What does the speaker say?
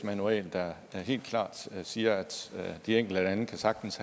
manual der helt klart siger at de enkelte lande sagtens